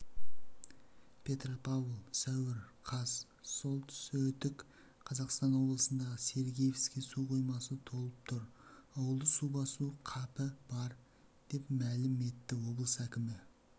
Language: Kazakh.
петропавл сәуір қаз солтсүітк қазақстан облысындағы сергеевский су қоймасы толып тұр ауылды су басу қапі бар деп мәлім етті облыс әкімі